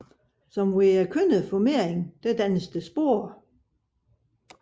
Som ved den kønnede formering dannes der sporer